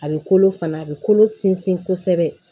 A bɛ kolo fana a bɛ kolo sinsin kosɛbɛ